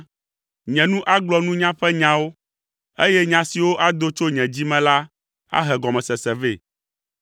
Nye nu agblɔ nunya ƒe nyawo, eye nya siwo ado tso nye dzi me la ahe gɔmesese vɛ.